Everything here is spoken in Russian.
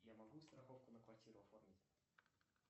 я могу страховку на квартиру оформить